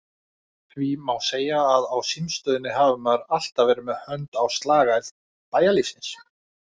Því má segja að á símstöðinni hafi maður alltaf verið með hönd á slagæð bæjarlífsins.